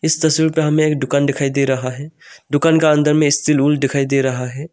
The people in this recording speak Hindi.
इस तस्वीर पे हमे एक दुकान दिखाई दे रहा है दुकान का अंदर में दिखाई दे रहा है।